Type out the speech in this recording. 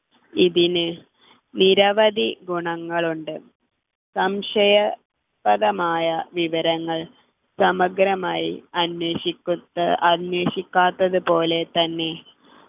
ഇതിന് നിരവധി ഗുണങ്ങളുണ്ട് സംശയ പ്രദമായ വിവരങ്ങൾ സമഗ്രമായി അന്വേഷിക്കു അന്വേഷിക്കാത്തത് പോലെ തന്നെ